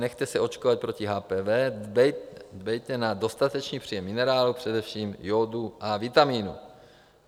Nechte se očkovat proti HPV, dbejte na dostatečný příjem minerálů, především jódu, a vitamínů.